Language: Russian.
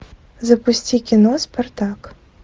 запусти кино спартак